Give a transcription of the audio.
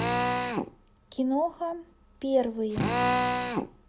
киноха первые